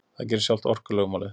Það gerir sjálft orkulögmálið.